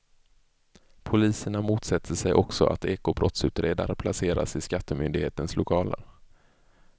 Poliserna motsätter sig också att ekobrottsutredare placeras i skattemyndighetens lokaler.